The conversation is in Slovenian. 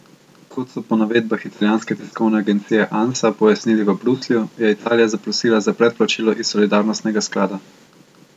Kot so po navedbah italijanske tiskovne agencije Ansa pojasnili v Bruslju, je Italija zaprosila za predplačilo iz solidarnostnega sklada.